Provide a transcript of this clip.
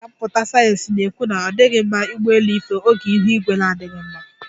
Ndi ọka mmụta sayeensị na-ekwu na ọ dighị mma ụgbọelu ife oge ihu igwe na-adighị mma.